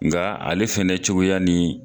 Nga ale fɛnɛ cogoya nin